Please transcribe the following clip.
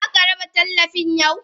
Zaka raba tallafin yau?